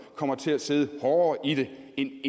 kommer til at sidde hårdere i det end